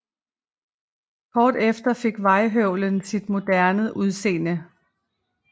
Kort efter fik vejhøvlen sit moderne udseende